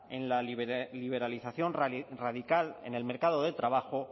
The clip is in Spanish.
en la liberalización radical en el mercado de trabajo